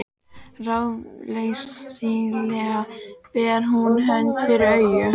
Ráðleysislega ber hún hönd fyrir augu.